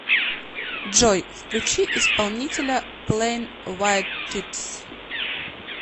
джой включи исполнителя плэйн вайт титс